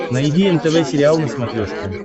найди нтв сериал на смотрешке